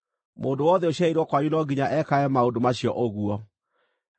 “ ‘Mũndũ wothe ũciarĩirwo kwanyu no nginya ekage maũndũ macio ũguo